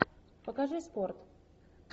покажи спорт